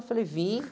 Eu falei, vim.